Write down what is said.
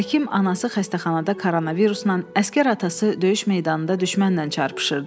Həkim anası xəstəxanada koronavirusla, əsgər atası döyüş meydanında düşmənlə çarpışırdı.